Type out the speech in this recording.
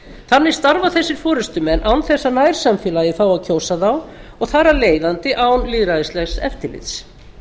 þannig starfa þessir forustumenn án þess að nærsamfélagið fái að kjósa þá og að án lýðræðislegs eftirlits